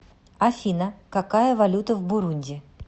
афина какая валюта в бурунди